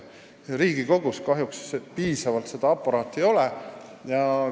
Riigikogus kahjuks sellist aparaati piisavalt ei ole.